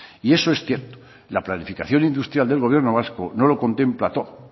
y eso es cierto la planificación industrial del gobierno vasco no lo contempla todo